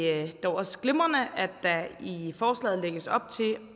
er det dog også glimrende at der i forslaget lægges op til